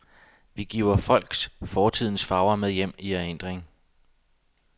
Vi giver folk fortidens farver med hjem i erindringen.